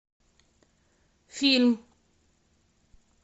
фильм